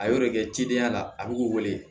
A y'o de kɛ cidenya la a bɛ k'u wele